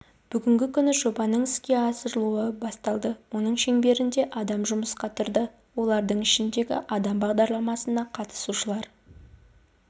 бүгінгі күні жобаның іске асырылуы басталды оның шеңберінде адам жұмысқа тұрды олардың ішіндегі адам бағдарламасына қатысушылар